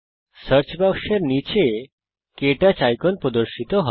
search বাক্সের নীচে ক্টাচ আইকন প্রদর্শিত হয়